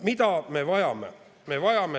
Mida me vajame?